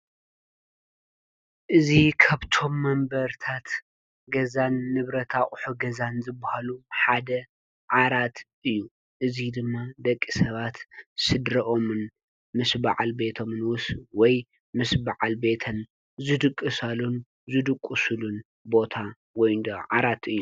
እዚ ካብቶም መንበርታት ገዛን ንብረት አቝሑን ገዛን ዝበሃሉ ሓደ ዓራት እዩ። እዙይ ድማ ደቂ ሰባት ስድረኦምን ምስ በዓል ቤቶምን ወይ ምስ በዓል ቤተን ዝድቕሳሉ ዝድቁሱሉን ቦታ ወይንዶ ዓራት እዩ።